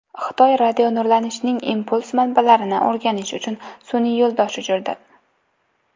Xitoy radionurlanishning impuls manbalarini o‘rganish uchun sun’iy yo‘ldosh uchirdi.